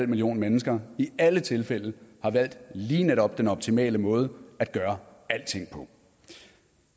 millioner mennesker i alle tilfælde har valgt lige netop den optimale måde at gøre alting på